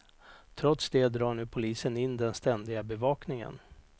Trots det drar nu polisen in den ständiga bevakningen.